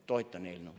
" Toetan eelnõu.